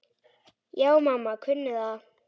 Já, mamma kunni það.